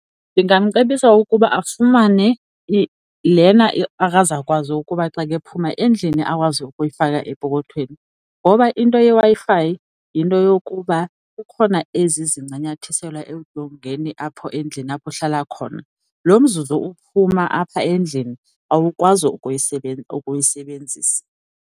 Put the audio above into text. Ndingamcebisa ukuba afumane lena akazakwazi ukuba xa ke ephuma endlini akwazi ukuyifaka epokothweni ngoba into yeWi-Fi yinto yokuba kukhona ezi ezincanyathiselwa edongeni apho endlini apho uhlala khona. Lo mzuzu uphuma apha endlini awukwazi ukuyisebenzisa.